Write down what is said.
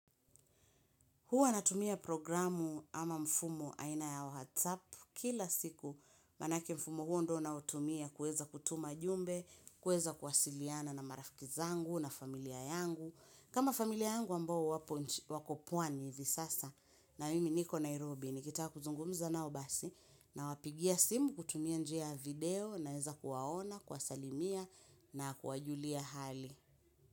Huwa natumia programu ama mfumo aina ya whatsapp kila siku manake mfumo huo ndio naotumia kueza kutuma jumbe, kueza kuwasiliana na marafiki zangu na familia yangu. Kama familia yangu ambao wako pwani hivi sasa na mimi niko Nairobi nikitaka kuzungumza nao basi na wapigia simu kutumia njia video naeza kuwaona, kuwasalimia na kuwajulia hali.